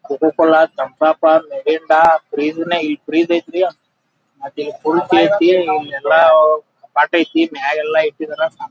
cocoa Cola ತಂಪಾಪ Mirinda fridge ನೇ ಇಲ್ ಬೃಜ ಐತ್ರಿ ಅದೇ ಫುಲ್ ಎಲ್ಲ ಸಾಕೈತಿ ಮ್ಯಾಗೆಲ್ಲ ಇಟ್ಟಿದಾರ--